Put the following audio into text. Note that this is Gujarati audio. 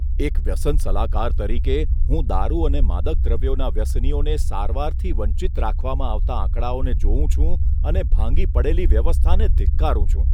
એક વ્યસન સલાહકાર તરીકે, હું દારૂ અને માદક દ્રવ્યોના વ્યસનીઓને સારવારથી વંચિત રાખવામાં આવતા આંકડાઓને જોઉં છું અને ભાંગી પડેલી વ્યવસ્થાને ધિક્કારું છું.